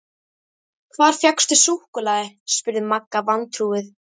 Hvar fékkstu súkkulaði? spurði Magga vantrúuð.